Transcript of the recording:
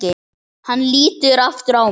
Hann lítur aftur á mig.